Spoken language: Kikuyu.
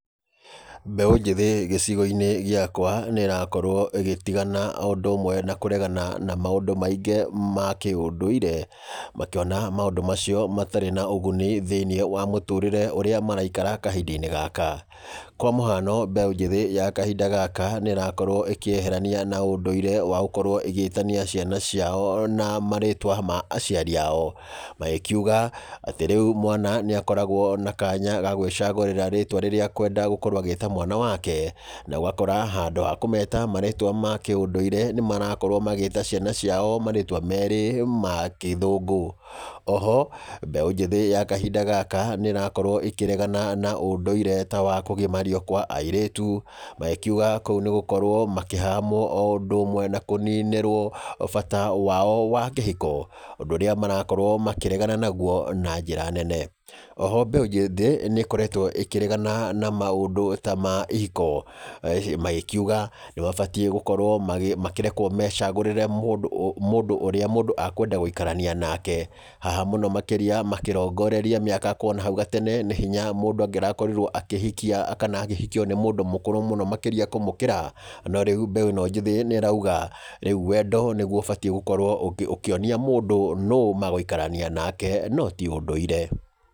Mbeũ njĩthĩ gĩcigo-inĩ gĩakwa nĩ ĩrakorwo ĩgĩtigana o ũndũ ũmwe na kũregana na maũndũ maingĩ ma kĩũndũire. Makĩona maũndũ macio matarĩ na ũguni thĩiniĩ wa mũtũrĩre ũrĩa maraikara kahinda-inĩ gaka. Kwa mũhano, mbeũ njĩthĩ ya kahinda gaka nĩ ĩrakorwo ĩkĩeherania na ũndũire wa gũkorwo ĩgĩtania ciana ciao na marĩtwa ma aciari ao. Magĩkiuga, atĩ rĩu mwana nĩ akoragwo na kanya ga gwĩcagũrĩra rĩtwa rĩrĩa akwenda gũkorwo agĩta mwana wake. Na ũgakora handũ wa kũmeta marĩtwa ma kĩũndũire nĩ marakorwo magĩĩta ciana ciao marĩtwa meerĩ ma kĩthũngũ. Oho, mbeũ njĩthĩ ya kahinda gaka, nĩ ĩrakorwo ĩkĩregana na ũndũire ta wa kũgimario kwa airĩtu, magĩkiuga kũu nĩ gũkorwo makĩhahamwo o ũndũ ũmwe na kũninĩrwo bata wao wa kĩhiko. Ũndũ ũrĩa marakorwo makĩregana naguo na njĩra nene. Oho mbeũ njĩthĩ, nĩ ĩkoretwo ĩkĩregana na maũndũ ta ma ihiko. Magĩkiuga nĩ mabatiĩ gũkorwo makĩrekwo mecagũrĩre mũndũ mũndũ ũrĩa mũndũ akwenda gũikarania nake. Haha mũno makĩria, makĩrongoreria mĩaka kuna hau gatene nĩ hinya mũndũ angĩrakorirwo akĩhikia kana akĩhikio nĩ mũndũ mũkũrũ mũno makĩria kũmũkĩra. No rĩu mbeũ ĩno njĩthĩ nĩ ĩrauga, rĩu wendo nĩguo ũbatiĩ gũkorwo ũkĩonia mũndũ nũ magũikarania nake no ti ũndũire.